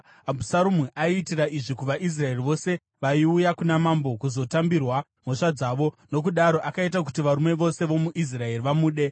Abhusaromu aiitira izvi kuvaIsraeri vose vaiuya kuna mambo kuzotambirwa mhosva dzavo, nokudaro akaita kuti varume vose vomuIsraeri vamude.